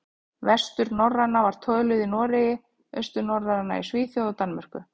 Vesturnorræna var töluð í Noregi, austurnorræna í Svíþjóð og Danmörku.